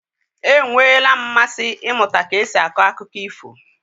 E nweela m mmasị ịmụta ka esi akọ akụkọ ifo.